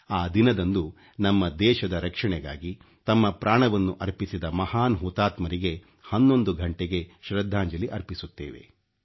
ಆ ದಿನದಂದು ನಮ್ಮ ದೇಶದ ರಕ್ಷಣೆಗಾಗಿ ತಮ್ಮ ಪ್ರಾಣವನ್ನು ಅರ್ಪಿಸಿದ ಮಹಾನ್ ಹುತಾತ್ಮರಿಗೆ 11 ಘಂಟೆಗೆ ಶ್ರದ್ಧಾಂಜಲಿ ಅರ್ಪಿಸುತ್ತೇವೆ